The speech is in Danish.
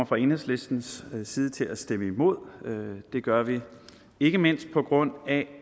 fra enhedslistens side til at stemme imod det det gør vi ikke mindst på grund af